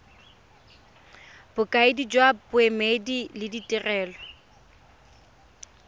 bokaedi jwa boemedi le ditirelo